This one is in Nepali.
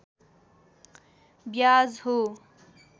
ब्याज हो